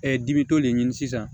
dibi t'o le ɲini sisan